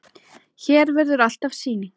Hér verður alltaf sýning.